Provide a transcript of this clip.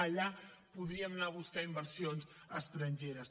allà podríem anar a buscar inversions estrangeres